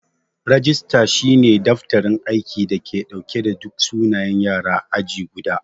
Rajista shi ne daftarin aiki da ke dauke da duk sunayen Yara ã aji guda.